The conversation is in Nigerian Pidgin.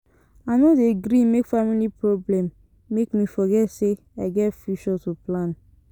I no dey gree make family problem make me forget sey I get future to plan.